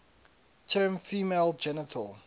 term female genital